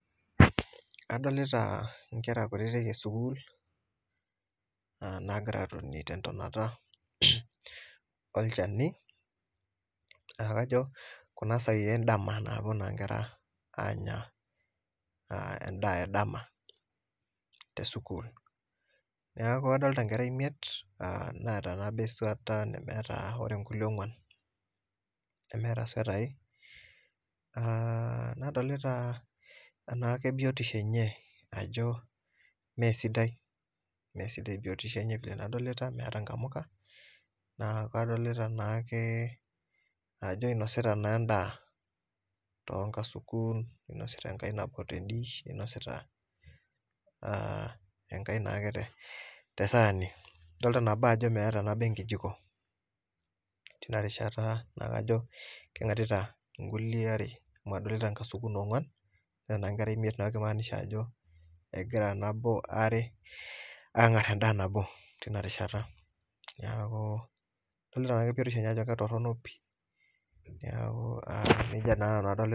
Kadolita inkera kutitik esukuul naagira aatoni te intonata olchani, naa kajo kuna saai endama napo naa inkera aanya indaa edama te sukuul, naaku adolita inkera imiet naata nabo esueta nemeeta ore inkule ongwan nemeeta sotai. Nadolita naake biotisho enye ajo mee sidai, mee sidai biotisho enye pii adolita, meata nkamuka, naa kadolita naake ajo inosita naa indaa too nkasukun, neinosita enkae nabo te indiish, einosita enkae naake te saani, idolita nabo ajo meeta nabo enkejiko teina rishata naa kajo kengarita nkulie are, madolita nkasuku nee ongwan, nadolita naa inkera imiet naa keimaanisha ajo egira nabo are aangar endaa nabo tenarishata naaku, adolita naaa biotisho enye ajo ketorino pii, neaku neja naa nanu adolita